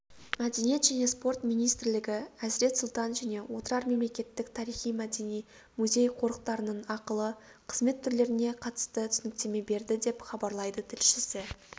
мәдениет және спорт министрлігі әзірет сұлтан және отырар мемлекеттік тарихи-мәдени музей-қорықтарының ақылы қызмет түрлеріне қатысты түсініктеме берді деп хабарлайды тілшісі